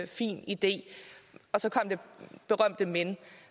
fin idé og så kom det berømte men